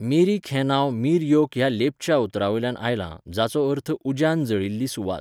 मिरिक हें नांव मीर योक ह्या लेप्चा उतरांवयल्यान आयलां, जाचो अर्थ 'उज्यान जळिल्ली सुवात'.